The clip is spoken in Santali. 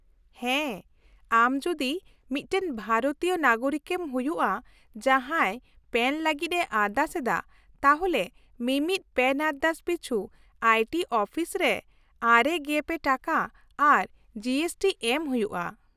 -ᱦᱮᱸ ᱟᱢ ᱡᱩᱫᱤ ᱢᱤᱫᱴᱟᱝ ᱵᱷᱟᱨᱚᱛᱤᱭᱟᱹ ᱱᱟᱜᱚᱨᱤᱠᱮᱢ ᱦᱩᱭᱩᱜᱼᱟ, ᱡᱟᱦᱟᱸᱭ ᱯᱮᱱ ᱞᱟᱹᱜᱤᱫᱼᱮ ᱟᱨᱫᱟᱥ ᱮᱫᱟ, ᱛᱟᱦᱚᱞᱮ ᱢᱤᱢᱤᱫ ᱯᱮᱱ ᱟᱨᱫᱟᱥ ᱯᱤᱪᱷᱩ ᱟᱭᱴᱤ ᱚᱯᱷᱤᱥ ᱨᱮ ᱙᱓ ᱴᱟᱠᱟ ᱟᱨ ᱡᱤᱮᱥᱴᱤ ᱮᱢ ᱦᱩᱭᱩᱜᱼᱟ ᱾